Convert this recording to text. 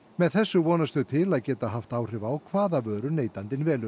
með þessu vonast þau til að geta haft áhrif á það hvaða vöru neytandinn velur